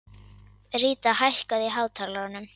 Ríta, hækkaðu í hátalaranum.